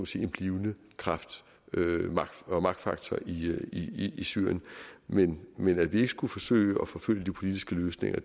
sige en blivende magtfaktor i i syrien men men at vi ikke skulle forsøge at forfølge de politisk løsninger